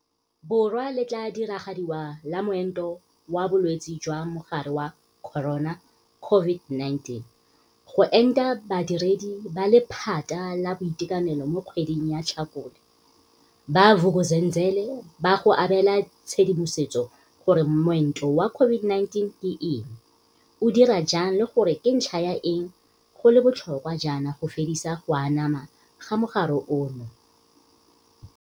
Borwa le tla diragadiwa la moento wa bolwetse jwa Mogare wa Corona, COVID-19, go enta badiredi ba lephata la boitekanelo mo kgweding ya Tlhakole, ba Vuk'uzenzele ba go abe la tshedimosetso gore moento wa COVID-19 ke eng, o dira jang le gore ke ka ntlha ya eng go le bo tlhokwa jaana go fedisa go anama ga mogare ono.